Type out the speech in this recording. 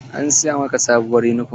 An siya ma ka sabuwur yunifom?